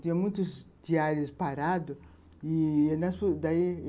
Tinha muitos diários parados e